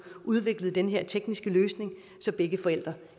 udviklet den her tekniske løsning så begge forældre